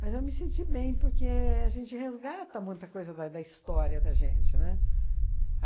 Mas eu me senti bem, porque a gente resgata muita coisa da da história da gente, né?